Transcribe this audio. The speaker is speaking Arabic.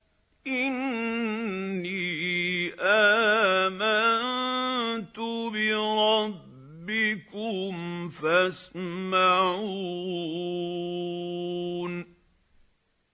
إِنِّي آمَنتُ بِرَبِّكُمْ فَاسْمَعُونِ